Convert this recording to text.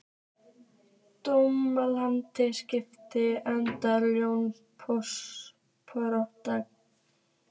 Dómald, spilaðu lagið „Jón Pönkari“.